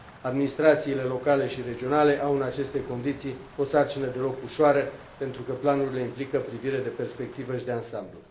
Administrațiile locale și regionale au, în aceste condiții, o sarcină deloc ușoară pentru că planurile implică privire de perspectivă și de ansamblu.